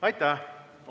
Aitäh!